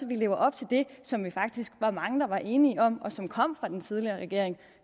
vi lever op til det som vi faktisk var mange der var enige om og som kom fra den tidligere regering